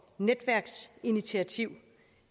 netværksinitiativ